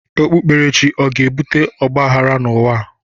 Okpukperechi ọ ga-ebute ọgbaghrara n'ụwa?